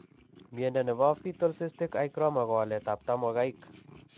Miondo nebo fetal cystic hygroma ko walet ab tamogaik